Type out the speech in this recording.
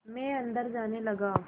मैं अंदर जाने लगा